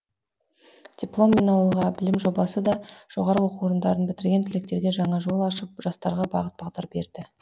дипломмен ауылға білім жобасы да жоғары оқу орындарын бітірген түлектерге жаңа жол ашып жастарға бағыт бағдар берді